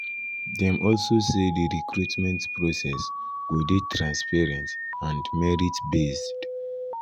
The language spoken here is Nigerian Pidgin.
dem also say di recruitment process go dey "transparent and merti-based."